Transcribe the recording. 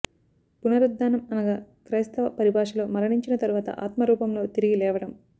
పునరుద్ధానం అనగా క్రైస్తవ పరిభాషలో మరణించిన తర్వాత ఆత్మ రూపంలో తిరిగి లేవడం